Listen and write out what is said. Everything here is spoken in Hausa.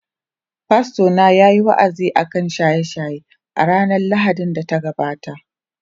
Fastona yayi wa’azi akan shaye-shaye a ranar Lahadin da ta gabata.